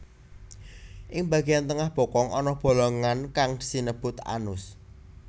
Ing bageyan tengah bokong ana bolongan kang sinebut anus